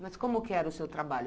Mas como que era o seu trabalho?